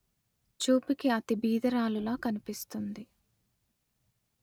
చూడడానికి అతి పేదదానిలా కనిపిస్తుంది